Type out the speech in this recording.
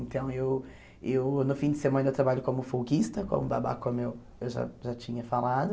Então, eu eu no fim de semana, eu trabalho como folguista, como babá, como eu eu já já tinha falado.